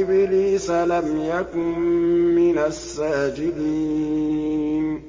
إِبْلِيسَ لَمْ يَكُن مِّنَ السَّاجِدِينَ